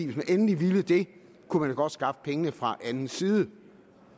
hvis man endelig ville det kunne man godt skaffe pengene fra anden side